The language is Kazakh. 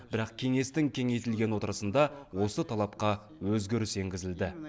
бірақ кеңестің кеңейтілген отырысында осы талапқа өзгеріс енгізілді